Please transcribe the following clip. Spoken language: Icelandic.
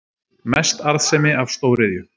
Mest arðsemi af stóriðju